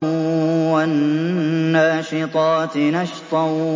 وَالنَّاشِطَاتِ نَشْطًا